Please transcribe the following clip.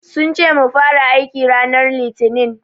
Sun ce mu fara aiki ranar Litinin.